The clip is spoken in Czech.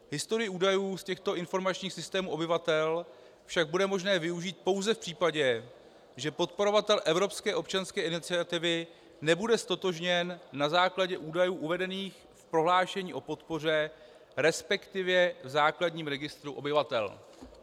Historii údajů z těchto informačních systémů obyvatel však bude možné využít pouze v případě, že podporovatel evropské občanské iniciativy nebude ztotožněn na základě údajů uvedených v prohlášení o podpoře, respektive v základním registru obyvatel.